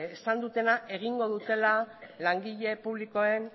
esan dutena egingo dutena langile publikoen